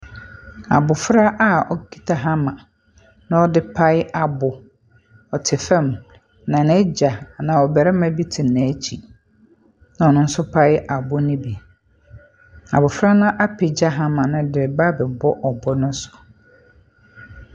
Abɔfra a ɔkuta hammer, na ɔde pae abo, Ɔte fam, na n'agya anaa ɔbarima bi te n'akyi, a ɔno nso repae abo no bi. Abɔfra no apagya hammer no de reba abɛbɔ ɔbo no so.